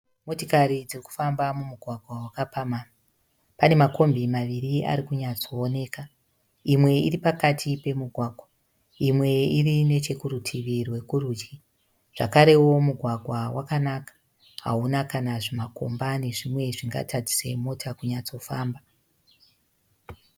Motikari dzirikufamba mumugwagwa wakapamhamha. Panemakombi maviri arikunyatsooneka. Imwe iripakati pemugwagwa, imwe iri nechekurutivi rwekurudyi. Zvakarewo mugwagwa wakanaka, hauna kana zvimakomba nezvimwe zvingatadzise mota kunyatsofamba.